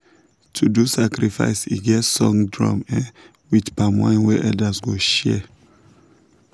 to do sacrifice e get song drum um with palm wine wey elders go share.